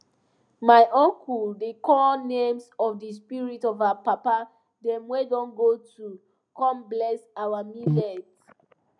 my uncle dey call names of the spirit of our papa dem wey don go to come bless our millet